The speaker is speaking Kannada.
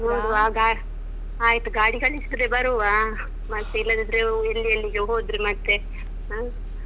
ನೋಡುವ ಗಾ~ ಆಯಿತು ಗಾಡಿ ಕಳ್ಸಿದ್ರೆ ಬರುವ. ಮತ್ತೆ ಇಲ್ಲದಿದ್ರೆ ಎಲ್ಲಿ ಎಲ್ಲಿಗೆ ಹೋದ್ರೆ ಮತ್ತೆ ಹ.